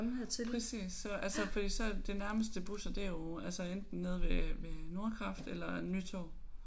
Præcis så altså fordi så de nærmeste busser det er jo altså enten nede ved ved Nordkraft eller Nytorv